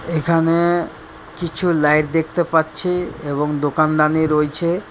এখানে কিছু লাইট দেখতে পাচ্ছি এবং দোকানদানি রইছে ।